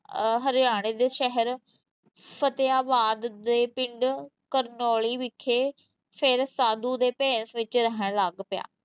ਅਹ ਹਰਿਆਣੇ ਦੇ ਸ਼ਹਿਰ ਫਤਿਆਬਾਦ ਦੇ ਪਿੰਡ ਕਰਨੋਲੀ ਵਿਖੇ ਫਿਰ ਸਾਧੂ ਦੇ ਭੇਸ਼ ਵਿੱਚ ਰਹਿਣ ਲੱਗ ਪਿਆ।